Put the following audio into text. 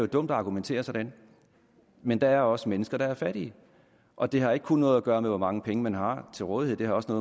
dumt at argumentere sådan men der er også mennesker der er fattige og det har ikke kun noget at gøre med hvor mange penge man har til rådighed det har også